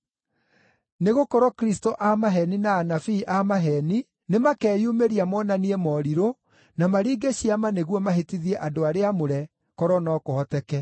Nĩgũkorwo Kristũ a maheeni na anabii a maheeni nĩmakeyumĩria monanie morirũ na maringe ciama nĩguo mahĩtithie andũ arĩa aamũre, korwo no kũhoteke.